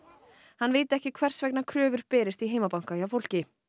hann viti ekki hvers vegna kröfur berist í heimabanka hjá fólki